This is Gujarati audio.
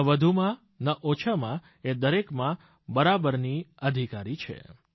ન વધુમાં ન ઓછામાં એ દરેકમાં બરાબરની અધિકારી છે